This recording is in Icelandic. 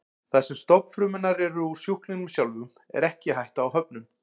Þar sem stofnfrumurnar eru úr sjúklingnum sjálfum er ekki hætta á höfnun.